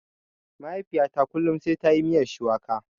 Mahaifiyata kullum sai tayi miyar shuwaka.